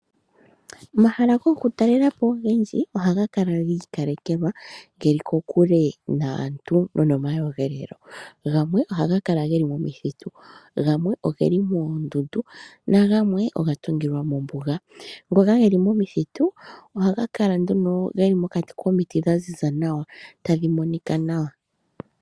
Omahla goku talelapo ogendjimohaga lala gikalekelwa geli kokule naantu nonoma yogelelo. Gamwe ohaga kala geli momuthitu , gamwe oguli moondundu nagamwe ogatungilwa mombuga. Ngoka geli momuthitu ohaga kala nduno geli mokiti dha ziza nawa tadhi monika nawa.